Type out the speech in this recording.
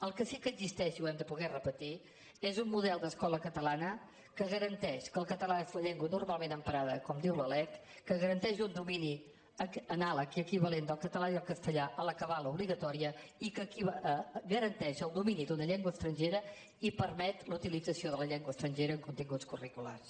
el que sí que existeix i ho hem de poder repetir és un model d’escola catalana que garanteix que el català és la llengua normalment emprada com diu la lec que garanteix un domini anàleg i equivalent del català i el castellà a l’acabar l’obligatòria i que garanteix el domini d’una llengua estrangera i permet la utilització de la llengua estrangera en continguts curriculars